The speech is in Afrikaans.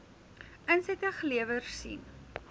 insette gelewer sien